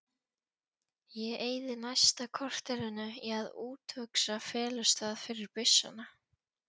Ég eyði næsta korterinu í að úthugsa felustað fyrir byssuna